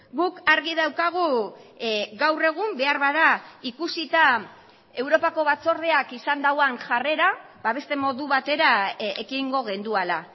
guk argi daukagu gaur egun beharbada ikusita europako batzordeak izan duen jarrera ba beste modu batera ekingo genuela